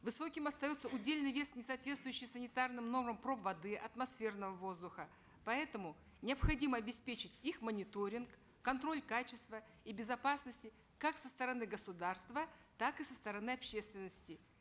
высоким остается удельный вес несооответствующих санитарным нормам проб воды атмосферного воздуха поэтому необходимо обеспечить их мониторинг контроль качества и безопасности как со стороны государства так и со стороны общественности